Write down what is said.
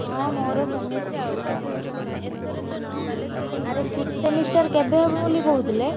ହଁ ମୋର ସେମିତି ଆଉ, ଆରେ sixth semester କେବେ ହବ ବୋଲି କହୁଥିଲେ?